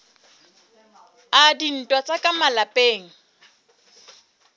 a dintwa tsa ka malapeng